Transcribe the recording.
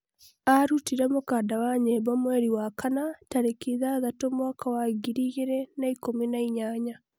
arutire mũkanda wa nyĩmbo mweri wa kana, tarĩki ithathatũ mwaka wa ngiri igĩrĩ na ikũmi na inyanya